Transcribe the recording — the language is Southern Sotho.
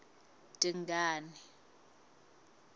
dingane